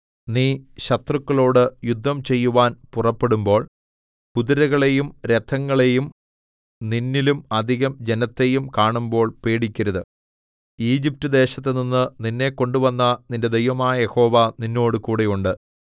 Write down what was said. നീ ശത്രുക്കളോട് യുദ്ധം ചെയ്യുവാൻ പുറപ്പെടുമ്പോൾ കുതിരകളെയും രഥങ്ങളെയും നിന്നിലും അധികം ജനത്തെയും കാണുമ്പോൾ പേടിക്കരുത് ഈജിപ്റ്റ്ദേശത്തുനിന്ന് നിന്നെ കൊണ്ടുവന്ന നിന്റെ ദൈവമായ യഹോവ നിന്നോടുകൂടെ ഉണ്ട്